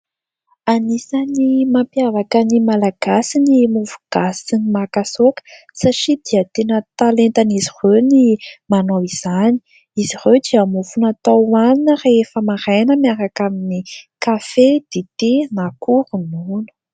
Anisany mampiavaka ny malagasy ny mofogasy sy ny makasaoka satria dia tena talentan'izy ireo ny manao izany. Izy ireo dia mofo natao hoanina rehefa maraina miaraka amin'ny kafe, dite na koa ronono.